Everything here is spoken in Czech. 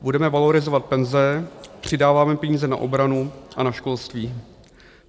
Budeme valorizovat penze, přidáváme peníze na obranu a na školství.